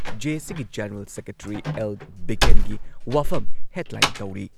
ꯖꯦ.ꯑꯦ.ꯁꯤꯒꯤ general secretary L. ꯕꯤꯀꯦꯟꯒꯤ ꯋꯥꯐꯝ headline ꯇꯧꯔꯤ ꯫